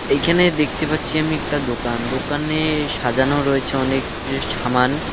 এখানে দেখতে পাচ্ছি আমি একটা দোকান দোকানে সাজানো রয়েছে অনেক কিছু সামান।